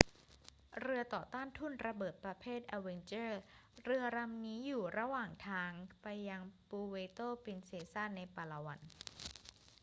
เรือต่อต้านทุ่นระเบิดประเภท avenger เรือลำนี้อยู่ระหว่างทางไปยังปูเวร์โตปรินเซซาในปาลาวัน